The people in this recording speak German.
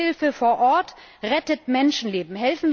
Entwicklungshilfe vor Ort rettet Menschenleben.